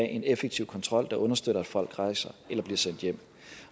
en effektiv kontrol der understøtter at folk rejser eller bliver sendt hjem